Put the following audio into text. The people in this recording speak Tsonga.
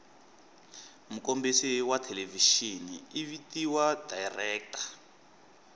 mukombisi wathelevishini ivhitiwa director